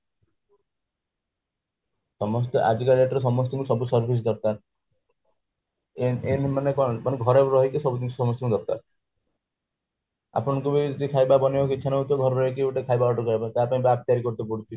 ସମସ୍ତେ ଆଜିକା date ରେ ସମସ୍ତଙ୍କୁ ସବୁ service ଦରକାର ମାନେ ଘରେ ରହିକି ସବୁ ଜିନିଷ ସମସ୍ତଙ୍କୁ ଦରକାର ଆପଣଙ୍କୁ ବି ଖାଇବା ବନେଇବାକୁ ଇଛା ନ ହୋଉଥିବ ଘରେ ରହିକି ଗୋଟେ ଖାଇବା order କରିବା ପାଇଁ ତା ପାଇଁ ତିଆରି କରତେ ପଡୁଛି